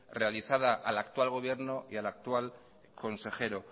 realizada al actual gobierno y al actual consejero